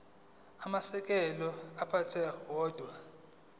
amasheke athunyelwa odwa